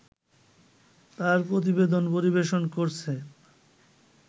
তার প্রতিবেদন পরিবেশন করছেন